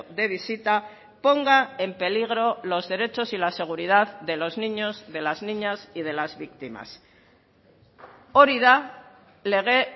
de visita ponga en peligro los derechos y la seguridad de los niños de las niñas y de las víctimas hori da lege